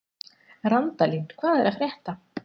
Randalín, hvað er að frétta?